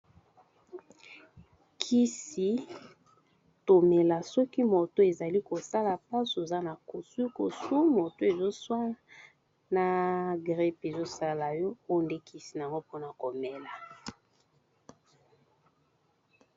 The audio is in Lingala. Kisi tomela soki moto ezali kosala pasi oza na kosukosu moto ezoswa na gripe ezosala yo oyo nde kisi nango mpona komela.